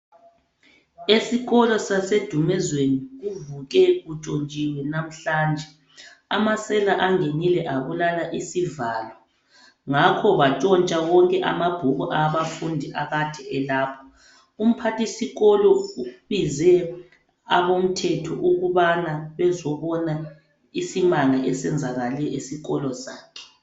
Isikolo sase Dumezweni kuvuke kutshontshiwe namhlanje amasela angenile abulala isivalo ngakho batshontsha konke amabhuku abafundi akade elapho. Umphathisikolo ubize abomthetho ukubana bezobona isimanga esenzakale esikolo sakhe.